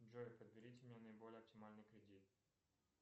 джой подберите мне наиболее оптимальный кредит